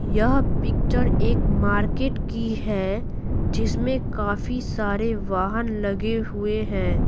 यह पिक्चर एक मार्केट की है जिसमें काफी सारे वाहन लगे हुए हैं।